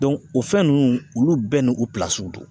o fɛn nunnu olu bɛɛ nu don.